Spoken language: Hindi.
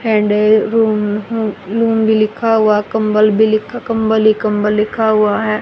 हैंडल रूम लूम भी लिखा हुआ कंबल भी लिखा कंबल ही कंबल लिखा हुआ है।